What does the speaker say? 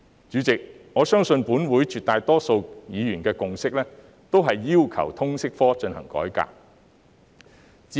主席，我相信本會絕大多數議員的共識均是要求通識科推行改革。